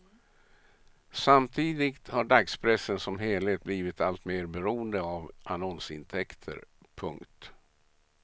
Samtidigt har dagspressen som helhet blivit alltmer beroende av annonsintäkter. punkt